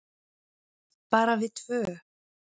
Bara við tvö.